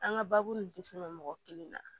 An ka baabu tɛ se ka mɔgɔ kelen na